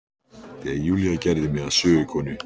Þegar Júlía gerði mig að sögukonu.